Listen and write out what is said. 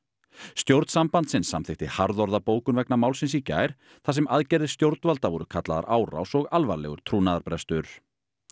stjórn sambandsins samþykkti harðorða bókun vegna málsins í gær þar sem aðgerðir stjórnvalda voru kallaðar árás og alvarlegur trúnaðarbrestur